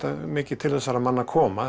mikið til þessara manna koma